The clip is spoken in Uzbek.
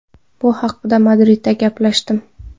Bu haqda Madridda gaplashdim.